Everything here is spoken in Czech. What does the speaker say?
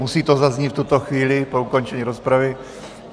Musí to zaznít v tuto chvíli po ukončení rozpravy.